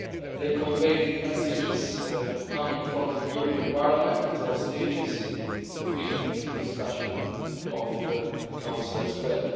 They conveyed the messages coming from the European Parliament at all stages to feed into the discussion of the Council as well.